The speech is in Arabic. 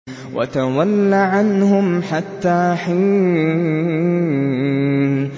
وَتَوَلَّ عَنْهُمْ حَتَّىٰ حِينٍ